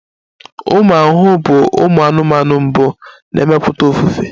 Ụmụ ahụhụ bụ ụmụ anụmanụ mbụ na-emepụta ofufe